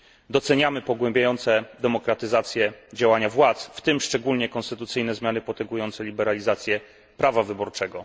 Doceniamy pogłębiające demokratyzację działania władz, w tym szczególnie konstytucyjne zmiany potęgujące liberalizację prawa wyborczego.